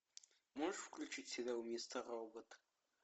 можешь включить сериал мистер робот